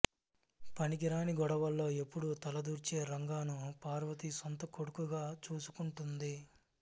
పనికిరాని గొడవల్లో ఎప్పుడూ తలదూర్చే రంగాను పార్వతి సొంత కొడుకుగా చూసుకుంటుంది